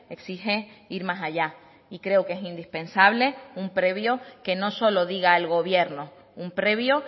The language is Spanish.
exige ir más allá y creo que es indispensable un previo que no solo diga el gobierno un previo